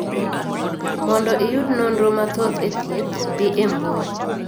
Mondo iyud nonro mathoth e thiedh, dhi e mbui